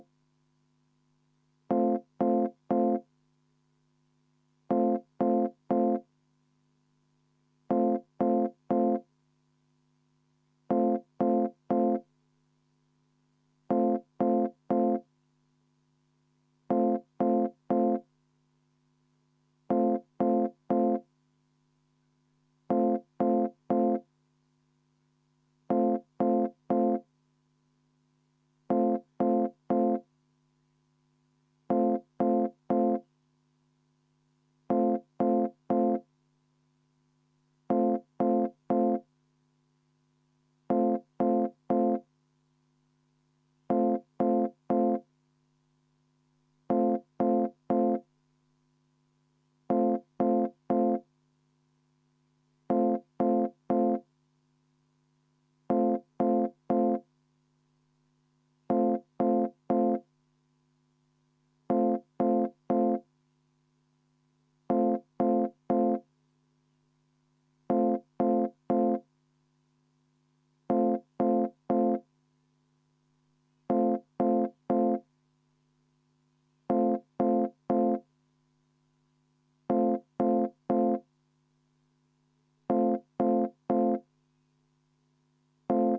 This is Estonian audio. V a h e a e g